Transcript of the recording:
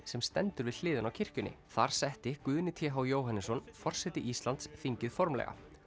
sem stendur við hliðina á kirkjunni þar setti Guðni t h Jóhannesson forseti Íslands þingið formlega